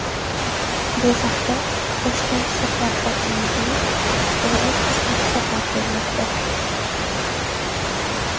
Bu haqda Toshkent shahar hokimligining axborot xizmati xabar bermoqda .